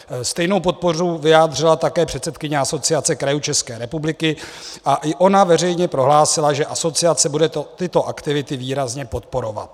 Stejnou podporu vyjádřila také předsedkyně Asociace krajů České republiky a i ona veřejně prohlásila, že asociace bude tyto aktivity výrazně podporovat.